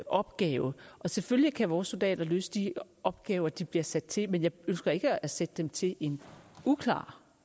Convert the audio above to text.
opgave selvfølgelig kan vores soldater løse de opgaver de bliver sat til men jeg ønsker ikke at sætte dem til en uklar